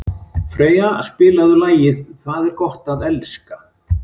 Freyja, spilaðu lagið „Það er gott að elska“.